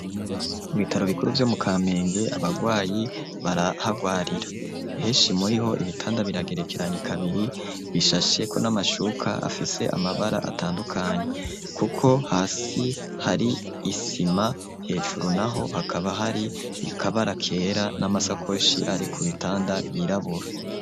Ku bitaro bikuru vyo mu kampenge abagwayi barahagwarira heshi muriho ibitanda biragerekeranye kabiri bishasheko n'amashuka afise amabara atandukanye kuko hasi hari isima hejuru naho hakaba hari ikabara kera n'amasakoshi ari ku bitanda yirabura.